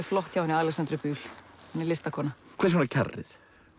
flott hjá henni Alexöndru Bühl hún er listakona hvers vegna kjarrið